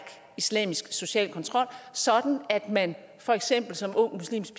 islamisk social kontrol sådan at man for eksempel som ung muslimsk